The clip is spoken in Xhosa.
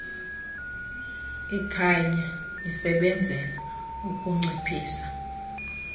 ikhanya isebenzela ukunciphisa